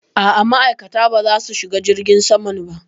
A'a ma'aikata ba za su shiga jirgin saman ba